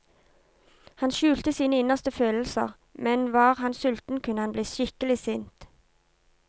Han skjulte sine innerste følelser, men var han sulten kunne han bli skikkelig sint.